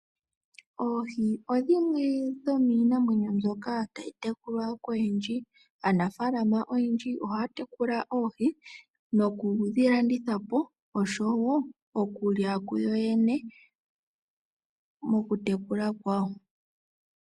Oohi odhimwe dhomiinamwenyo mbyoka tayi tekulwa koyendji. Aanaflama oyendji ohaya tekula oohi nokudhi landitha po, osho wo okulya kuyo yene mokutekula kwawo.